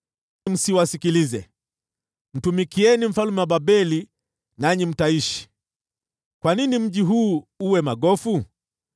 Msiwasikilize. Mtumikieni mfalme wa Babeli, nanyi mtaishi. Kwa nini mji huu uwe magofu?